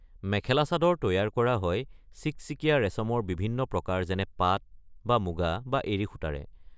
মেখেলা-চাদৰ তৈয়াৰ কৰা হয় চিকচিকীয়া ৰেচমৰ বিভিন্ন প্ৰকাৰ যেনে পাট বা মূগা বা এৰী সূতাৰে।